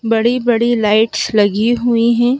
बड़ी बड़ी लाइट्स लगी हुई हैं।